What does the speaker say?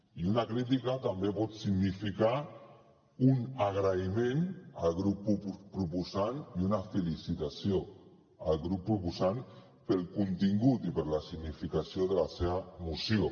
i una crítica també pot significar un agraïment al grup proposant i una felicitació al grup proposant pel contingut i per la significació de la seva moció